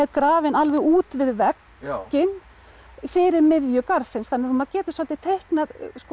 grafin alveg út við vegginn fyrir miðju garðsins þannig að maður getur svolítið teiknað